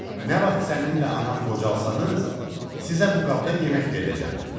Nə vaxt səninlə anam qocalasanız, sizə bu qabda yemək verəcəm.